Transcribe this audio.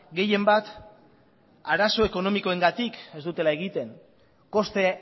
gehienbat arazo ekonomikoengatik ez dutela egiten koste